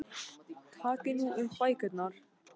Takið nú upp bækurnar.